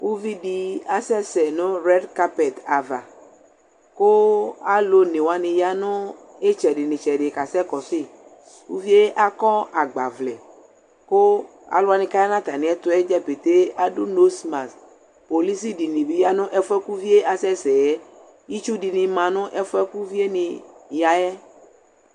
ʋvidi asɛsɛ nʋ red carpet aɣa kʋ alʋ ɔnɛ wani yanʋ itsɛdi ni itsɛdi kasɛ kɔsʋi, ʋviɛ akɔ agba vlɛ kʋ alʋ wani ayanʋ atami ɛtʋɛ pɛtɛɛ adʋ nose mask, polisi dini bi yanʋ ɛƒʋɛ kʋ ʋviɛ asɛsɛ, itsʋ dini manʋ ɛƒʋɛ kʋ ʋviɛ ni yaɛ